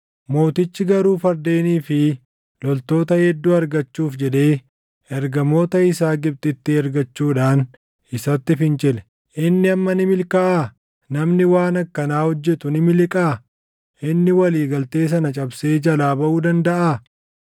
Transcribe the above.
Mootichi garuu fardeenii fi loltoota hedduu argachuuf jedhee ergamoota isaa Gibxitti ergachuudhaan isatti fincile. Inni amma ni milkaaʼaa? Namni waan akkanaa hojjetu ni miliqaa? Inni walii galtee sana cabsee jalaa baʼuu dandaʼaa?